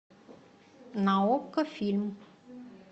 на окко фильм